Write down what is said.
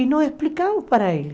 E não explicavam para ele.